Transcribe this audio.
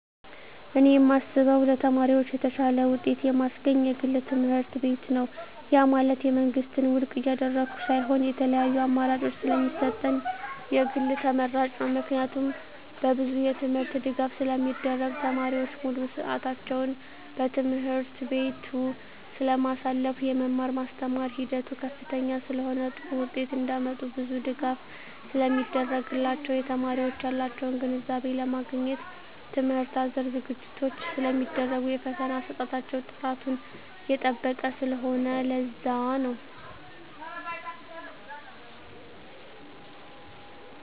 እኔ የማስበው ለተማሪዎች የተሻለ ውጤት የማስገኝ የግል ትምህርትቤት ነው ያ ማለት የመንግስትን ውድቅ እያደረኩ ሳይሆን የተለያዪ አማራጭ ስለሚሰጠን የግል ተመራጭ ነው። ምክንያቱም በብዙ የትምህርት ድጋፍ ስለሚደረግ , ተማሪዎች ሙሉ ስዕታቸውን በትምህርት ቤቱ ስለማሳልፋ , የመማር ማስተማር ሂደቱ ከፍተኛ ስለሆነ ጥሩ ውጤት እንዳመጡ ብዙ ድጋፍ ስለሚደረግላቸው , የተማሪዎች ያላቸውን ግንዛቤ ለማግኘት ትምህርት አዘል ዝግጅቶች ስለሚደረጉ የፈተና አሰጣጣቸው ጥራቱን የጠበቀ ስለሆነ ለዛ ነው